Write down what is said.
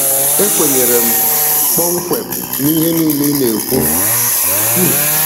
E kwenyere m kpọmkwem n'ihe niile ị na-ekwu. um